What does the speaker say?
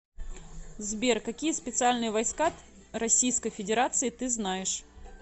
сбер какие специальные войска российской федерации ты знаешь